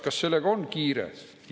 Kas sellega on kiire?